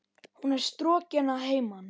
Hún er strokin að heiman.